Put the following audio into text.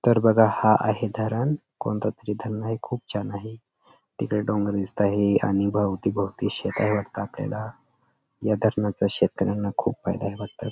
तर बघा हा आहे धरण कोणता तरी धरण आहे खूप छान आहे तिकडे डोंगर दिसत आहे आणि भोवती भोवती शेतावर आपल्याला या धरणाचा शेतकऱ्यांना फायदा ये वाटतं.